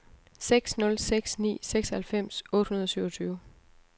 seks nul seks ni seksoghalvfems otte hundrede og syvogtyve